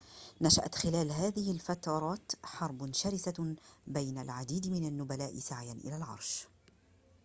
نشأت خلال هذه الفترات حرب شرسة بين العديد من النبلاء سعيًا إلى العرش